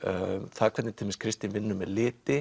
það hvernig til dæmis Kristín vinnur með liti